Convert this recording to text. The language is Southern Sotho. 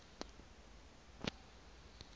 monyakeng